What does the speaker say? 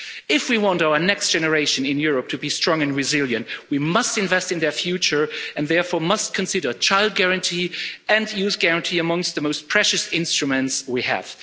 If we want our next generation in Europe to be strong and resilient, we must invest in their future and therefore must consider Child Guarantee and Youth Guarantee amongst the most precious instruments we have.